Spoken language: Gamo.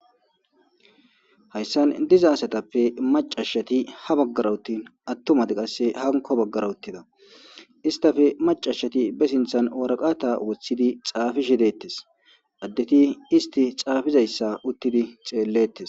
hayssan diza asatappe macashshati ha baggara uttin attumati qasse hanko baggara uttida istafe macashati be sinthan araqata woththidi xaafishe deettes addeti isti xaafizayssa uttidi xeellettes